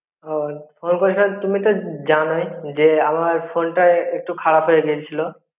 ও call করে ছিলাম, তুমি তো জানোই যে আমার phone টা একটু খারাপ হয়ে গেছিলো.